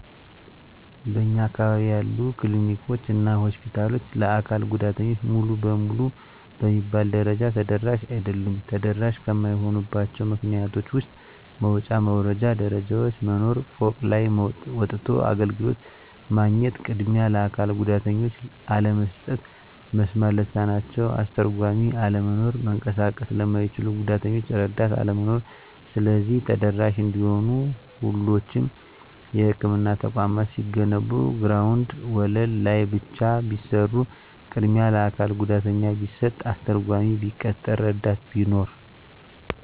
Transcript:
በእኛ አካባቢ ያሉ ክሊኒኮች እና ሆስፒታሎች ለአካል ጉዳተኞች ሙሉ በሙሉ በሚባል ደረጃ ተደራሽ አይደሉም። ተደራሽ ከማይሆኑባቸው ምክንያቶች ውስጥ መውጫ መውረጃ ደረጃዎች መኖር፤ ፎቅ ላይ ወጥቶ አገልግሎት ማግኘት፤ ቅድሚያ ለአካል ጉዳተኞች አለመስጠት፤ መስማት ለተሳናቸው አስተርጓሚ አለመኖር፤ መንቀሳቀስ ለማይችሉት ጉዳተኞች እረዳት አለመኖር። ስለዚህ ተደራሽ እንዲሆኑ ሁሎቹም የህክምና ተቋማት ሲገነቡ ግራውንድ ወለል ላይ ብቻ ቢሰሩ፤ ቅድሚያ ለአካል ጉዳተኛ ቢሰጥ፤ አስተርጓሚ ቢቀጠር፤ እረዳት ቢኖር።